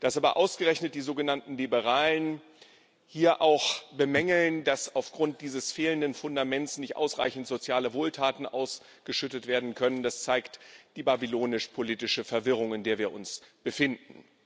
Dass aber ausgerechnet die sogenannten Liberalen hier auch bemängeln, dass aufgrund dieses fehlenden Fundaments nicht ausreichend soziale Wohltaten ausgeschüttet werden können, das zeigt die babylonisch politische Verwirrung, in der wir uns befinden.